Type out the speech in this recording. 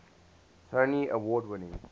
tony award winning